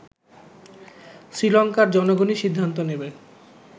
শ্রীলংকার জনগণই সিদ্ধান্ত নেবে